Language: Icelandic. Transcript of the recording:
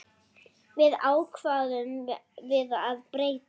Því ákváðum við að breyta.